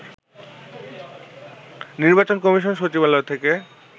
নির্বাচন কমিশন সচিবালয় থেকে